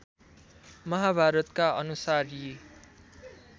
महाभारतका अनुसार यी